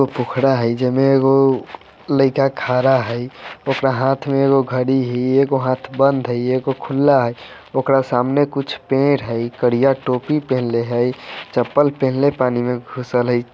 एक पोखरा हई जयमी गो लाइका खरा हई उकडा हाथ मे एगो घड़ी हई एगो हाथ बंद हई एको खुला हई ओकरा सामने कुछ पेड़ हई करिया टोपी पेहनले हई चप्पल पेहनले पानी मे घूसल हई ।